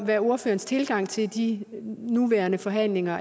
hvad ordførerens tilgang til de nuværende forhandlinger